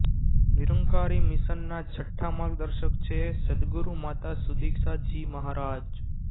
નિરંકારી મિશનના છઠ્ઠા માર્ગદર્શક છે સદગુરુ માતા સુદીક્ષા જી મહારાજ